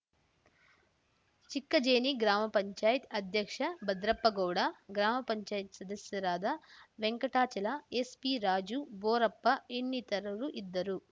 ಚಿಕ್ಕಜೇನಿ ಗ್ರಾಮ ಪಂಚಾಯತ್ ಅಧ್ಯಕ್ಷ ಭದ್ರಪ್ಪಗೌಡ ಗ್ರಾಮ ಪಂಚಾಯತ್ ಸದಸ್ಯರಾದ ವೆಂಕಟಾಚಲ ಎನ್‌ಪಿರಾಜು ಭೋರಪ್ಪ ಇನ್ನಿತರರು ಇದ್ದರು